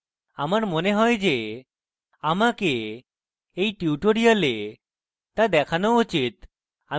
আমার মনে হয় যে আমাকে এই tutorial তা দেখানো উচিত